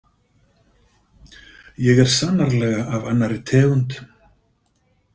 Ég er sannarlega af annarri tegund.